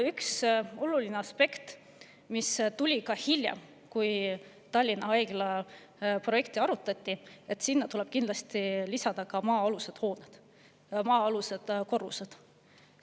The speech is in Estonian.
Üks oluline aspekt, mis tuli hiljem, kui Tallinna Haigla projekti arutati, on see, et sinna tuleb kindlasti lisada maa-alused korrused.